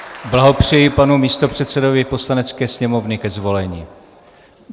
Blahopřeji panu místopředsedovi Poslanecké sněmovny ke zvolení.